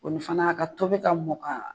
O ni fana a ka tobi ka mɔn ka